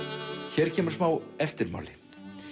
hér kemur smá eftirmáli